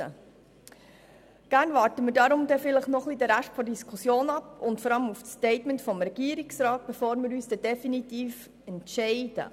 Deshalb warten wir noch den Rest der Diskussion ab und vor allem auch das Statement des Regierungsrats, bevor wir uns definitiv entscheiden.